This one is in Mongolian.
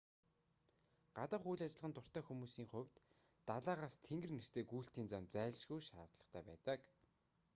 гадаах үйл ажиллагаанд дуртай хүмүүсийн хувьд далайгаас тэнгэр нэртэй гүйлтийн зам зайлшгүй шаардлагатай байдаг